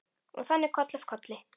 Og þannig koll af kolli.